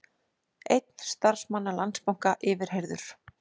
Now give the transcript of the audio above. Einn starfsmanna Landsbanka yfirheyrður